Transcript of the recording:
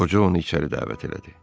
Qoca onu içəri dəvət elədi.